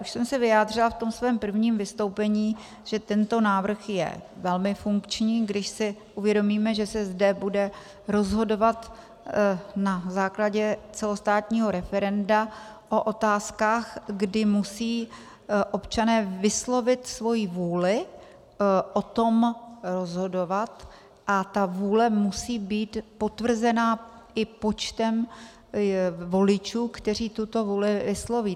Už jsem se vyjádřila v tom svém prvním vystoupení, že tento návrh je velmi funkční, když si uvědomíme, že se zde bude rozhodovat na základě celostátního referenda o otázkách, kdy musí občané vyslovit svoji vůli o tom rozhodovat, a ta vůle musí být potvrzena i počtem voličů, kteří tuto vůli vysloví.